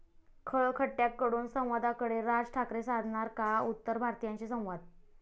खळ खट्याक'कडून संवादाकडे, राज ठाकरे साधणार का उत्तर भारतीयांशी संवाद?